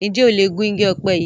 Njé o lẹ Gún ìgi òpe yí?